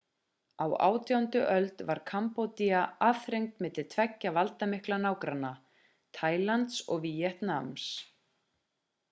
á 18. öld var kambódía aðþrengt milli tveggja valdamikilla nágranna taílands og víetnams